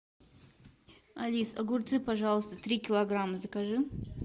алис огурцы пожалуйста три килограмма закажи